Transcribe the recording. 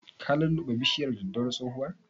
Ka lulluɓe bishiyar daddawar tsohuwan?